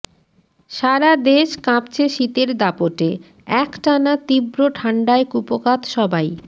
সারা দেশ কাঁপছে শীতের দাপটে একটানা তীব্র ঠান্ডায় কুপোকাত সবাই